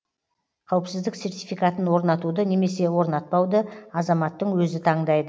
қауіпсіздік сертификатын орнатуды немесе орнатпауды азаматтың өзі таңдайды